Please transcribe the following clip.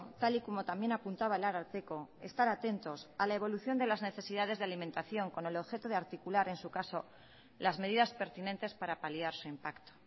tal y como también apuntaba el ararteko estar atentos a la evolución de las necesidades de alimentación con el objeto de articular en su caso las medidas pertinentes para paliar su impacto